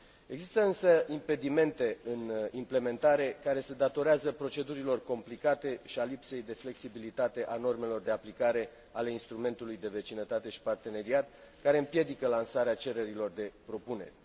Există, însă, impedimente în implementare care se datorează procedurilor complicate și a lipsei de flexibilitate a normelor de aplicare ale Instrumentului European de Vecinătate și Parteneriat, care împiedică lansarea cererilor de propuneri.